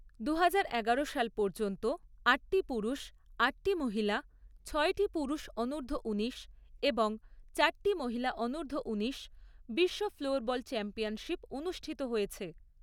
দুহাজার এগারো সাল পর্যন্ত আটটি পুরুষ, আটটি মহিলা, ছয়টি পুরুষ অনূর্ধ্ব উনিশ এবং চারটি মহিলা অনূর্ধ্ব উনিশ বিশ্ব ফ্লোরবল চ্যাম্পিয়নশিপ অনুষ্ঠিত হয়েছে।